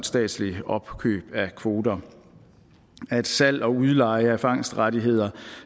statsligt opkøb af kvoter at salg og udleje af fangstrettigheder